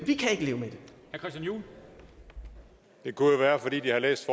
kunne jo være fordi de har læst